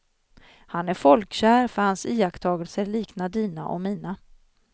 Han är folkkär för hans iakttagelser liknar dina och mina.